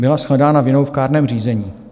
Byla shledána vinnou v kárném řízení.